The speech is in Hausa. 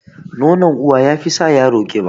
Nonon uwa yafi sa yara ƙiba